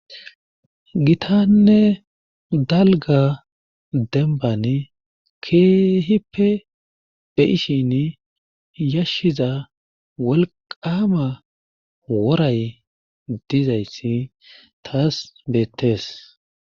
Gitanne dalgga dembbani keehiippe be7ishini yashiza wolqqaama woray dizayssi taas beettees.